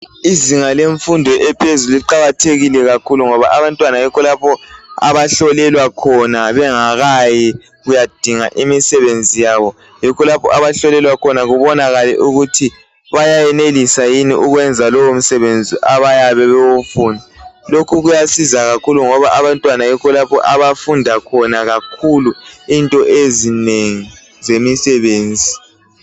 Izinga lemfundo ephezulu liqakathekile kakhulu ngoba abantwana yikho lapho abahlolelwa khona bengakayi kuyadinga imisebenzi yabo. Yikho lapho abahlolelwa khona ukuthi kubonakale ukuthi bayenelisa yini ukwenza lowo msebenzi abayabe bewufuna. Lokhu kuyasiza kakhulu ngoba abantwana yikho lapho abafunda khona kakhulu into ezinengi zemisebenzi.